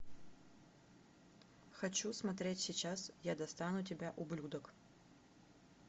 хочу смотреть сейчас я достану тебя ублюдок